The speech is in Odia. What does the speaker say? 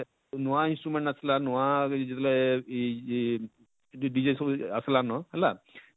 ନୁଆଁ instument ଆସିଲା ନୁଆଁ କରି ଯେତେବେଳେ ଇ ଜି dg ସବୁ ଆସଲା ନ ହେଲା,